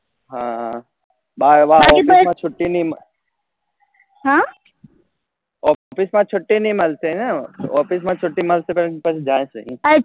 હા office માં છૂટી નહી હા office માં છૂટી નહી મળતી ને office માં છૂટી મળશે તો પણ જાઈશે